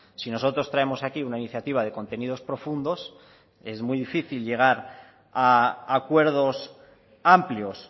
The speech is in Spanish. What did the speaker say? si nosotros traemos aquí una iniciativa de contenidos profundos es muy difícil llegar a acuerdos amplios